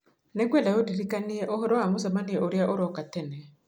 nĩ ngwenda ũndirikanie ũhoro wa mũcemanio ũrĩa ũroka tene